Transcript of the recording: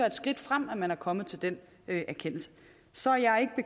et skridt frem at man er kommet til den erkendelse så er jeg